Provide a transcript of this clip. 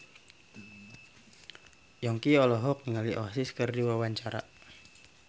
Yongki olohok ningali Oasis keur diwawancara